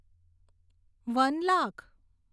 one lakh